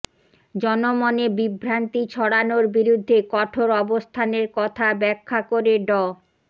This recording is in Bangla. জনমনে বিভ্রান্তি ছড়ানোর বিরুদ্ধে কঠোর অবস্থানের কথা ব্যাখ্যা করে ড